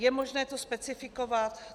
Je možné to specifikovat?